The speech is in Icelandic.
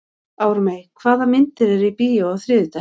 Ármey, hvaða myndir eru í bíó á þriðjudaginn?